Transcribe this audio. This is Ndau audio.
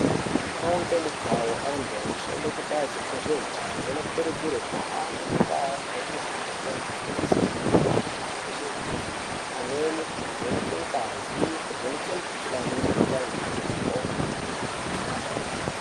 Mukhau ngemukhau antu anoshande kubazi rezveutano anokurudzirwe kuhambe muntaa nemumagange achifundise antu maringe ngezveutano, pamweni kuvheneke ngazi, kuvheneke mikhuhlani nekupa antu mitombo.